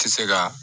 Tɛ se ka